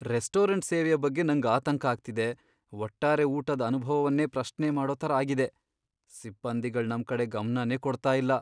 Restaurant ಸೇವೆಯ ಬಗ್ಗೆ ನಂಗ್ ಆತಂಕ ಆಗ್ತಿದೆ, ಒಟ್ಟಾರೆ ಊಟದ್ ಅನುಭವವನ್ನೇ ಪ್ರಶ್ನೆ ಮಾಡೋ ತರ ಆಗಿದೆ. ಸಿಬ್ಬಂದಿಗಳ್ ನಮ್ ಕಡೆ ಗಮ್ನನೇ ಕೊಡ್ತಾ ಇಲ್ಲ